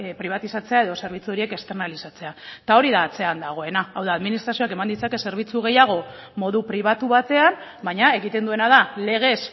pribatizatzea edo zerbitzu horiek esternalizatzea eta hori da atzean dagoena hau da administrazioak eman ditzake zerbitzu gehiago modu pribatu batean baina egiten duena da legez